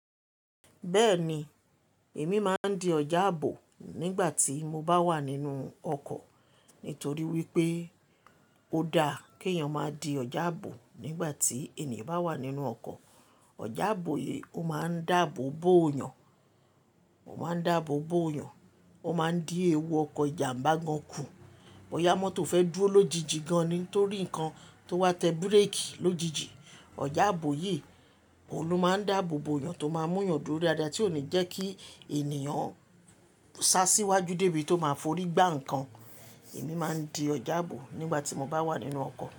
Bẹ́ẹ̀ni, èmi máa ń di ọ̀jáàbò nígbà tí mo bá wà nínú ọkọ̀ nítorí wípé ó dáa kí èèyàn má di ọ̀jáàbò nígbà tí ènìyàn bá wà nínú ọkọ̀. Ọ̀jáàbò yìí ó máa ń dáàbò bo èèyàn, ó máa ń dáàbò bo èèyàn ó máa ń di ewu ọkọ̀ ìjàmbá gan kù. Ọ̀yámọ̀ tó fẹ́ dúró lójijì gan nítorí nǹkan tó wá tẹ bíréèkì lójijì. Ọ̀jáàbò yìí òun ló máa ń dáàbò bo èèyàn tó máa mú ìyàn dúró ní ara tí ò ní jẹ́ kí ènìyàn sá síwájú débi tí ó máa forí gbá nǹkan. Èmi máa ń di ọ̀jáàbò nígbà tí mo bá wà nínú ọkọ̀.